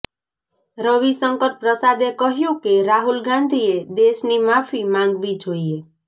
રવિશંકર પ્રસાદે કહ્યું કે રાહુલ ગાંધીએ દેશની માફી માંગવી જોઈએ